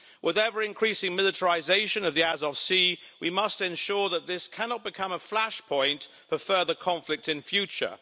With ever increasing militarisation of the Sea of Azov, we must ensure that this cannot become a flashpoint for further conflict in future.